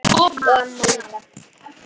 Og amma líka.